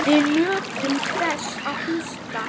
Við nutum þess að hlusta.